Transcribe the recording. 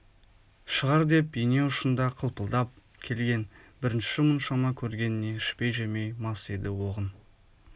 шығар деп ине ұшында қылпылдап келген бірінші мұншама көргеніне ішпей-жемей мас еді оғын